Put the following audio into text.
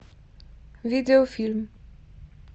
видеофильм